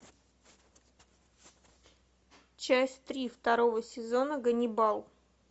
часть три второго сезона ганнибал